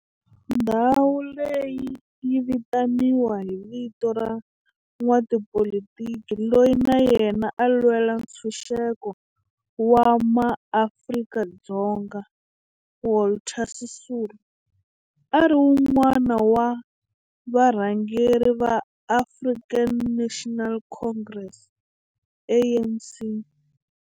Ndhawo leyi yi vitaniwa hi vito ra n'watipolitiki loyi na yena a lwela ntshuxeko wa maAfrika-Dzonga Walter Sisulu, a ri wun'wana wa varhangeri va African National Congress, ANC.